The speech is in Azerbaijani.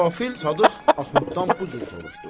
Nə qafil Sadıq Axunddan bu cür soruşdu: